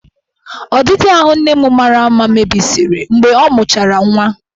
Ọdịdị ahụ nne m mara mma mebisiri mgbe ọ mụchara nwa.